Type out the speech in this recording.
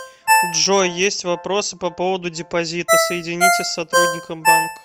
джой есть вопросы по поводу депозита соедините с сотрудником банка